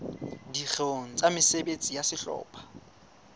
dikgeong tsa mesebetsi ya sehlopha